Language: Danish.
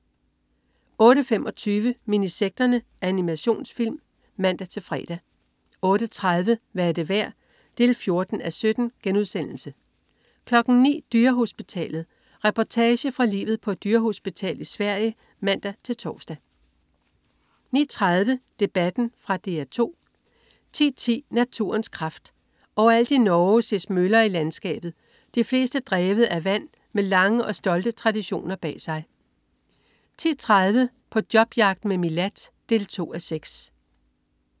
08.25 Minisekterne. Animationsfilm (man-fre) 08.30 Hvad er det værd? 14:17* 09.00 Dyrehospitalet. Reportage fra livet på et dyrehospital i Sverige (man-tors) 09.30 Debatten. Fra DR 2 10.10 Naturens kraft. Overalt i Norge ses møller i landskabet, de fleste drevet af vand og med lange og stolte traditioner bag sig 10.30 På jobjagt med Milad. 2:6